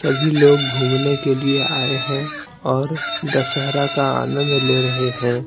सभी लोग घूमने के लिए आए हैं और दशहरा का आनंद ले रहे हैं।